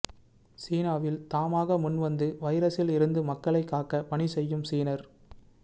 சீனாவில் தாமாக முன் வந்து வைரஸில் இருந்து மக்களை காக்க பணி செய்யும் சீனர்